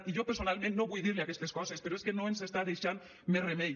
i jo personalment no vull dir li aquestes coses però és que no ens està deixant més remei